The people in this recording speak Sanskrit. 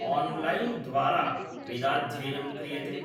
ओन्लैन् द्वारा वेदाध्ययनं क्रियते